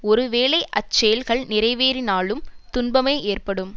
ஒரு வேளை அச்செயல்கள் நிறைவேறினாலும் துன்பமே ஏற்படும்